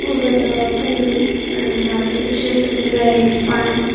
Over the pool and this picture is looking very fun.